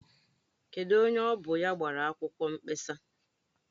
Kedụ onye bụ onye gbara akwụkwọ nkpesa?